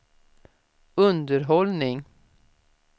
underhållning